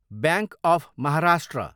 bank of Maharashtra